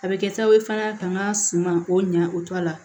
A bɛ kɛ sababu ye fana ka n ka suman k'o ɲa o to a la